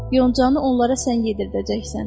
Yoncani onlara sən yedizdirəcəksən.